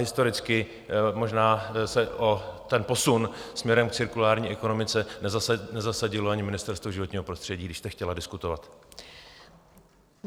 Historicky možná se o posun směrem k cirkulární ekonomice nezasadilo ani Ministerstvo životního prostředí, když jste chtěla diskutovat.